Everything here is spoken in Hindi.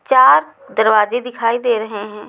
चार दरवाजे दिखाई दे रहे हैं।